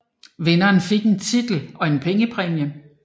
Vinderen fik en titel og en pengepræmie